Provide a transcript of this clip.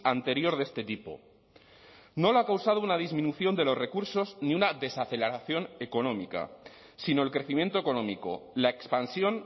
anterior de este tipo no lo ha causado una disminución de los recursos ni una desaceleración económica sino el crecimiento económico la expansión